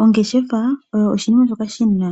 Ongeshefa oyo oshinima shoka shina